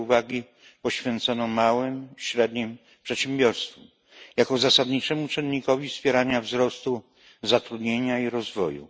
wiele uwagi poświęcono małym i średnim przedsiębiorstwom jako zasadniczemu czynnikowi wspierania wzrostu zatrudnienia i rozwoju.